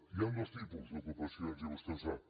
hi han dos tipus d’ocupacions i vostè ho sap